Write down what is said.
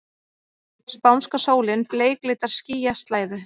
Spánska sólin bleiklitar skýjaslæðu.